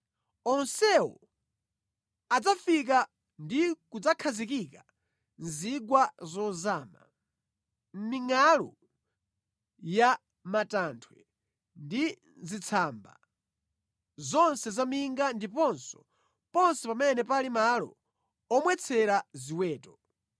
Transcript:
Onsewo adzafika ndi kudzakhazikika mu zigwa zozama, mʼmingʼalu ya matanthwe ndi mʼzitsamba zonse zaminga ndiponso ponse pamene pali malo omwetsera ziweto.